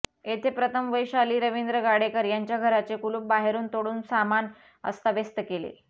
येथे प्रथम वैशाली रवींद्र गाडेकर यांच्या घराचे कुलूप बाहेरून तोडून सामान अस्ताव्यस्त केले